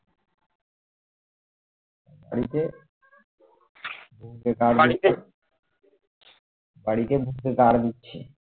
বাড়িতে বাড়িতে ধুচ্ছে